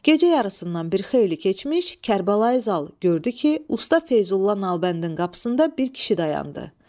Gecə yarısından bir xeyli keçmiş, Kərbəlayı Zal gördü ki, usta Feyzulla Nalbəndin qapısında bir kişi dayandı.